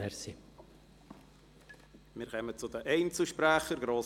Wir kommen zu den Einzelsprechern.